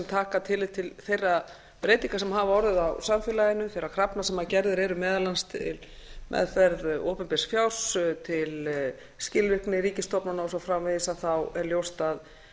taka tillit til þeirra breytinga sem hafa orðið á samfélaginu þeirra krafna sem gerðar eru meðal annars um meðferð opinbers fjár til skilvirkni ríkisstofnana og svo framvegis að þá er ljóst að